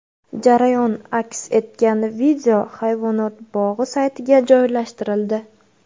Jarayon aks etgan video hayvonot bog‘i saytiga joylashtirildi.